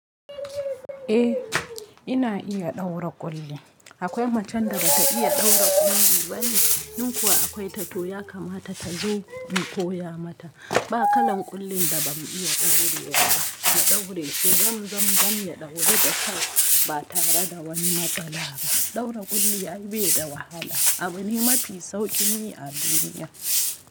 Eh ina iya ɗaura ƙulli. Akwai macen da ba ta iya ɗaura ƙulli ba ne, in kuwa akwai ta to ya kamata ta zo in koya mata. Ba kalan ƙullin da ba mu iya ɗaure wa ba mu ɗaure shi Zam zam zam ya ɗauru da kyau ba tare da wani matsala ba. Ɗaura ƙulli ai beda wahala. Abune mafi sauƙin yi a duniya.